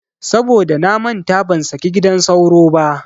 Saboda namanta ban saki gidan sauro ba.